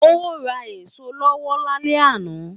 Ó ra èso olówó lálẹ́ àná.